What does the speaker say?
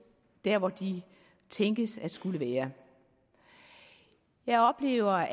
der hvor de tænkes at skulle være jeg oplever